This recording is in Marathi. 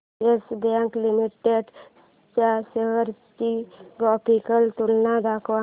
येस बँक लिमिटेड च्या शेअर्स ची ग्राफिकल तुलना दाखव